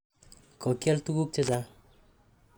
Ko kial tuguk che chang'.